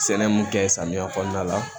Sɛnɛ mun kɛ samiya kɔnɔna la